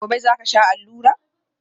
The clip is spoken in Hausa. Gobe ​​zaka sha allura?